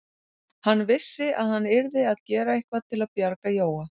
Hann vissi að hann yrði að gera eitthvað til að bjarga Jóa.